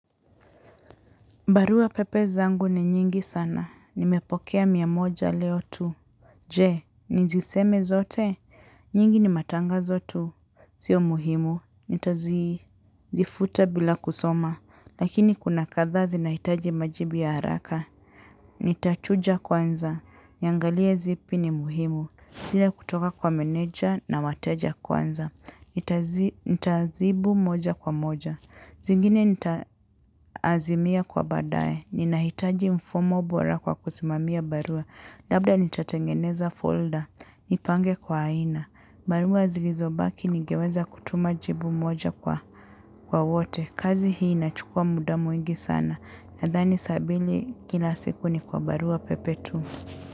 Barua pepe zangu ni nyingi sana. Nimepokea miamoja leo tu. Je, niziseme zote? Nyingi ni matanga zotu. Sio muhimu. Nita zifuta bila kusoma. Lakini kuna kadhaazi na hitaji majibu ya haraka. Nita chuja kwanza. Yangalie zipi ni muhimu. Zile kutoka kwa meneja na wateja kwanza. Nita zibu moja kwa moja. Zingine nita azimia kwa baadaye. Ninahitaji mfumobora kwa kusimamia barua. Labda nitatengeneza folder. Nipange kwa aina. Barua zilizo baki nigeweza kutuma jibu moja kwa wote. Kazi hii inachukua muda mwingi sana. Nadhani saambili kila siku ni kwa barua pepe tu.